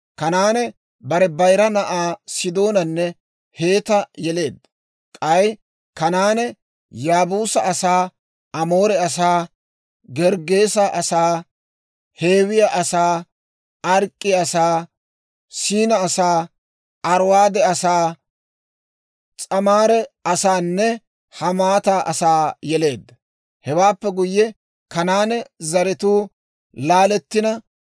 Kanaane bare bayira na'aa Sidoonanne Heeta yeleedda; k'ay Kanaane Yaabuusa asaa, Amoore asaa, Gerggeese asaa, Hiiwe asaa, Ark'k'e asaa, Siina asaa, Ariwaade asaa, S'amaare asaanne Hamaata asaa yeleedda. Hewaappe guyye, Kanaane zaratuu laalettina,